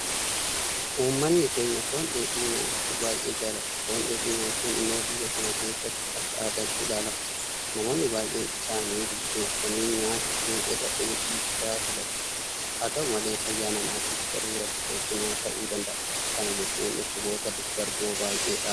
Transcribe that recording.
Uummanni keenya Foon dheedhii nyaachuu baay'ee jaalata. Foon dheedhii nyaachuun immoo biyya kana keessatti akka aadaatti ilaalama. Namoonni baay'een isaanii bilcheessanii nyaachuu irra dheedhii isaa filatu. Haa ta'u malee fayyaa namaatiif garuu rakkoo cimaa ta'uu danda'a. Kana jechuun dhukkuboota daddarboo baay'eedhaaf sababa ta'a.